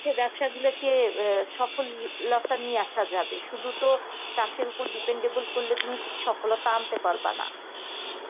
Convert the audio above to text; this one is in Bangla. ব্যবসাগুলোকে সফলতা নিয়ে আসা যাবে সুধু তো চাষীর ওপর dependable করলে তো তুমি সফলতা আনতে পারবা না